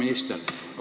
Hea minister!